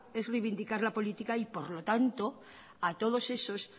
es reivindicar la política y por lo tanto a todos esos